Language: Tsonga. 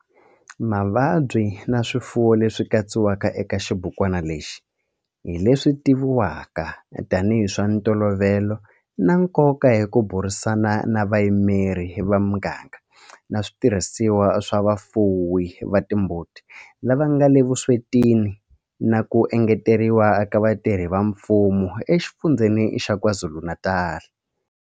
Mavabyi na swiyimo leswi katsiwaka eka xibukwana lexi hi leswi tivivwaka tanihi hi swa ntolovelo na nkoka hi ku burisana na vayimeri va miganga na switirhisiwa swa vafuwi va timbuti lava nga le vuswetini na ku engeteriwa ka vatirhi va mfumo eXifundzheni xa KwaZulu-Natal.